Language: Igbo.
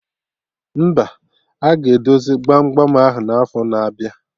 Mba, aga edozi gbam gbam ahụ n'afo na-abịa